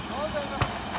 Qaç qoy, qoy, qoy.